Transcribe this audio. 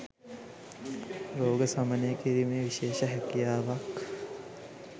රෝග සමනය කිරීමේ විශේෂ හැකියාවක්